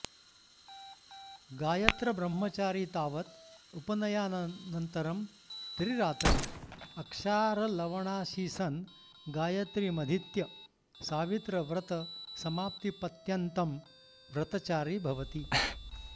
गायत्रब्रह्मचारी तावत् उपनयनानन्तरं त्रिरात्रम् अक्षारलवणाशीसन् गायत्रीमधीत्य सावित्रव्रतसमाप्तिपत्यन्तं व्रतचारी भवति